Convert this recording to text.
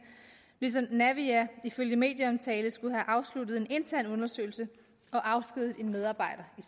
ligesom naviair ifølge medieomtale skulle have afsluttet en intern undersøgelse og afskediget en medarbejder i